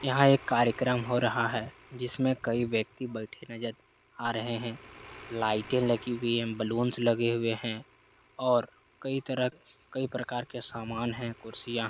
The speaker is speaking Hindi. यहाँ पर एक कार्यक्रम हो रहा है जिसमे कई व्यक्ति बैठे नज़र आ रहे हैं | लाईटे लगी हुई है बलून्स लगे हुए हैं और कई तरह कई प्रकार के सामान है कुर्सियां --